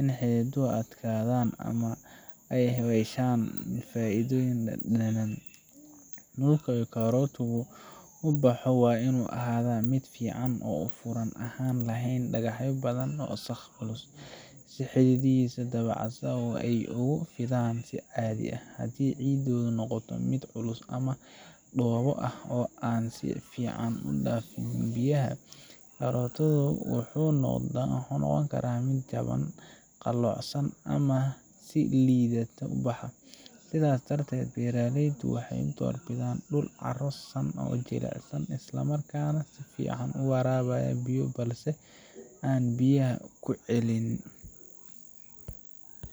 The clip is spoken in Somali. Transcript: inay xididuhu adkadan ama aay haweshan faidoyin dadanan muqa iyoh karootoku uboxo waa inu ahada mid fican oo furan ahan leh dagaxyo, badhan oo saa uculus si xididihisa dab casan aay ogu fidan hadi cidoda noqoto mid culus ama dobo ah oo si fudud udafin biyaha, karotadu wuxu noqoni kara mid jaban qalocsan amah lidato sidas dartet beraleydu waxay dorbidan dul caro san oo jilacsan isla markas nah sifican uwarabayo biyo balse an biyaha kucelinin.